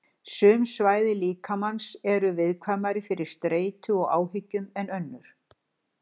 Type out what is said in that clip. Sum svæði líkamans eru viðkvæmari fyrir streitu og áhyggjum en önnur.